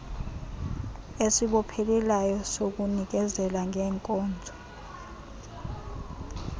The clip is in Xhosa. esibophelelayo sokunikezela ngeeenkonzo